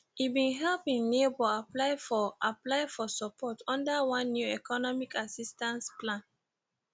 e bin help im neighbor apply for apply for support under one new economic assistance plan